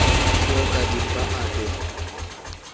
po ka dimpa a be